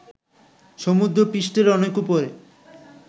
সমুদ্র পৃষ্ঠের অনেক উপরে